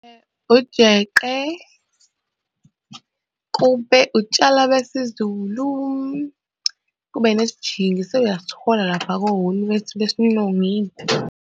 Ujeqe, kube utshwala besiZulu, kube nesijingi sewuyasithola lapha ko-Woolworths besilungu yini.